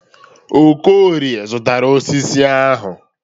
Okorie zụtara osisi ahụ.